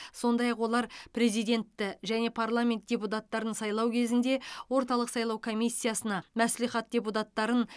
сондай ақ олар президентті және парламент депутаттарын сайлау кезінде орталық сайлау комиссиясына мәслихаттар депутаттарын